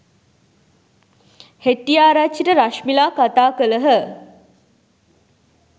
හෙට්‌ටිආරච්චිට රශ්මිලා කතා කළහ.